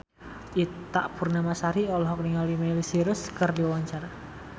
Ita Purnamasari olohok ningali Miley Cyrus keur diwawancara